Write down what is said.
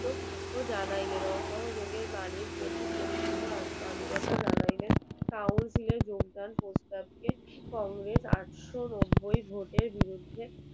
ও জানাইলেন অসহযোগের বাণীর প্রতি পরিপূর্ণ আনুগত্য জানাইলেন council এর যোগদান প্রস্তাবকে কংগ্রেস আটশো নব্বই ভোটের বিরুদ্ধে